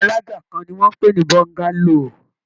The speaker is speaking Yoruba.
Ilé alájà kan ni wọ́n ń pè ní Bọ́ńgálò